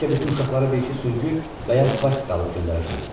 Bəlkə bizim uşaqlara bir-iki süngü və ya svastika alıb göndərəsən.